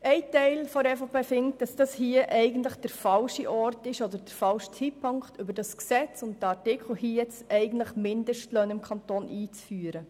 Ein Teil der EVP ist der Meinung, dass dies hier der falsche Ort oder der falsche Zeitpunkt ist, um über dieses Gesetz und diesen Artikel Mindestlöhne im Kanton Bern einzuführen.